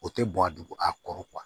O tɛ bɔn a dugun a kɔrɔ kuwa